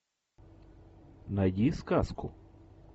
найди сказку